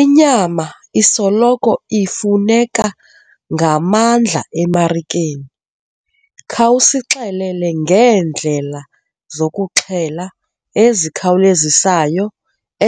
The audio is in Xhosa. Inyama isoloko ifuneka ngamandla emariken. Khawusixelele ngeendlela zokuxhela ezikhawulezisayo,